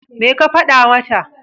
Me ka faɗa mata?